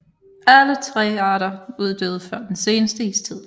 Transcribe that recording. Alle tre arter uddøde før den seneste istid